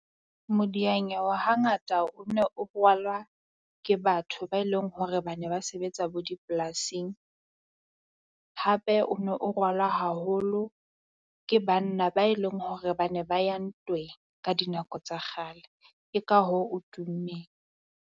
Modianyewe hangata o ne o rwalwa ke batho ba eleng hore ba ne ba sebetsa bo dipolasing. Hape o ne o rwalwa haholo ke banna ba e leng hore bane ba ya ntweng ka dinako tsa kgale. Ke ka hoo o tummeng.